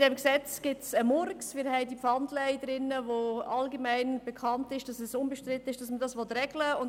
Wir haben die Pfandleihe, bei der unbestritten ist, dass man sie regeln will.